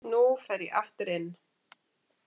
Nú fer ég aftur inn.